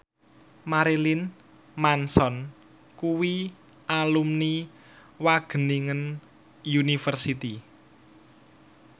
Marilyn Manson kuwi alumni Wageningen University